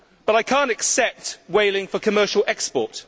I cannot accept whaling for commercial export.